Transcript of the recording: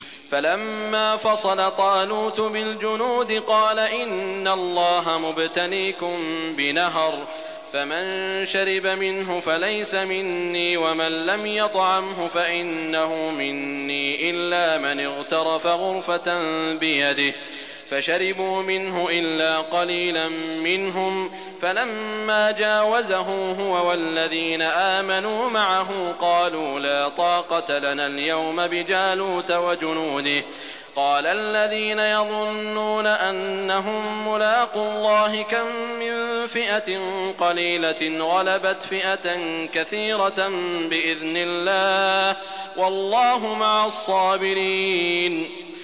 فَلَمَّا فَصَلَ طَالُوتُ بِالْجُنُودِ قَالَ إِنَّ اللَّهَ مُبْتَلِيكُم بِنَهَرٍ فَمَن شَرِبَ مِنْهُ فَلَيْسَ مِنِّي وَمَن لَّمْ يَطْعَمْهُ فَإِنَّهُ مِنِّي إِلَّا مَنِ اغْتَرَفَ غُرْفَةً بِيَدِهِ ۚ فَشَرِبُوا مِنْهُ إِلَّا قَلِيلًا مِّنْهُمْ ۚ فَلَمَّا جَاوَزَهُ هُوَ وَالَّذِينَ آمَنُوا مَعَهُ قَالُوا لَا طَاقَةَ لَنَا الْيَوْمَ بِجَالُوتَ وَجُنُودِهِ ۚ قَالَ الَّذِينَ يَظُنُّونَ أَنَّهُم مُّلَاقُو اللَّهِ كَم مِّن فِئَةٍ قَلِيلَةٍ غَلَبَتْ فِئَةً كَثِيرَةً بِإِذْنِ اللَّهِ ۗ وَاللَّهُ مَعَ الصَّابِرِينَ